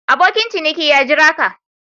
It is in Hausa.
Abokin ciniki ya Jira ka.